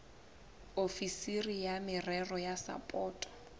ofisiri ya merero ya sapoto